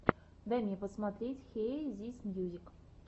дай мне посмотреть хиэ зис мьюзик